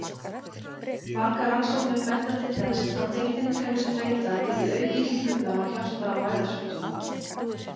Margar rannsóknir benda til þess að tilfinningaleg streita geti aukið líkurnar á hjarta- og æðasjúkdómum.